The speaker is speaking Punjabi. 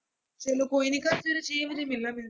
ਚੱਲੋ ਕੋਈ ਨੀ ਕੱਲ੍ਹ ਸਵੇਰੇ ਛੇ ਵਜੇ ਮਿਲਾਂਗੇ।